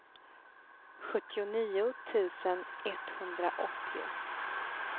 sjuttionio tusen etthundraåttio